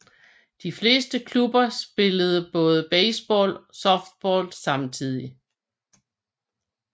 De fleste klubber spillede både baseball og softball samtidigt